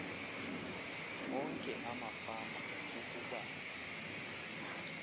onke amafama ukuba